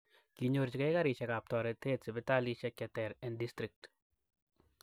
Kinyorchigei karishekap toreteet sipitalishek cheter en district